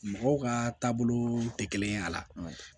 Mɔgɔw ka taabolo tɛ kelen ye a la